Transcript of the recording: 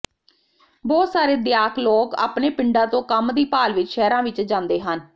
ਬਹੁਤ ਸਾਰੇ ਦਿਆਕ ਲੋਕ ਆਪਣੇ ਪਿੰਡਾਂ ਤੋਂ ਕੰਮ ਦੀ ਭਾਲ ਵਿਚ ਸ਼ਹਿਰਾਂ ਵਿਚ ਜਾਂਦੇ ਹਨ